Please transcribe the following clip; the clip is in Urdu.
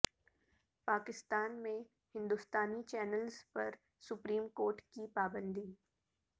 پاکستان میں ہندوستانی چینلس پر سپریم کورٹ کی پابندی